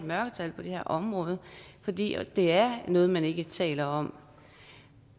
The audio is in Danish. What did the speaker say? mørketal på det her område fordi det er noget man ikke taler om